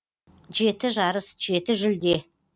жеті жарыс жеті жүлде